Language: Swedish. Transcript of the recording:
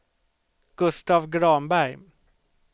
Gustav Granberg